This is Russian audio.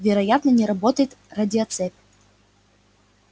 вероятно не работает радиоцепь